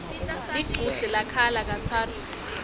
lichudze lakhala katsatfu